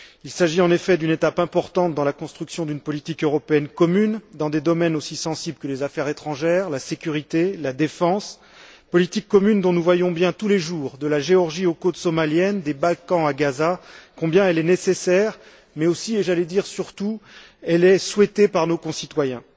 Il s'agit, en effet, d'une étape importante dans la construction d'une politique européenne commune dans des domaines aussi sensibles que les affaires étrangères, la sécurité, la défense, politique commune dont nous voyons bien tous les jours, de la Géorgie aux côtes somaliennes, des Balkans à Gaza, combien elle est nécessaire, mais aussi et j'allais dire surtout combien elle est souhaitée par nos concitoyens.